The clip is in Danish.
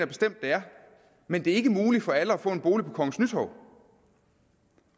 bestemt det er men det er ikke muligt for alle at få en bolig på kongens nytorv